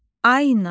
Ayna.